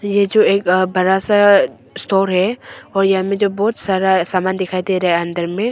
ये जो एक बरा सा स्टोर है और यहां में जो बाहोत सारा समान दिखाई दे रहा है अंदर में।